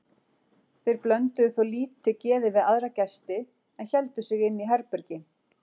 Þeir blönduðu þó lítið geði við aðra gesti en héldu sig inni í herbergi.